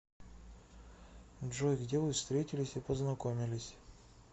джой где вы встретились и познакомились